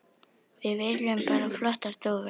Við viljum bara flottar dúfur.